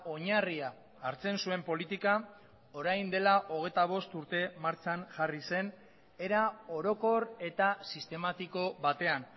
oinarria hartzen zuen politika orain dela hogeita bost urte martxan jarri zen era orokor eta sistematiko batean